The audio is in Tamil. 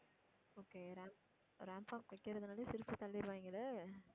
okay ramp, rampwalk வைக்கிறதுனாலே சிரிச்சு தள்ளிருவாங்களே.